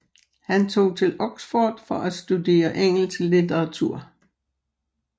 Han tog til Oxford for at studere engelsk litteratur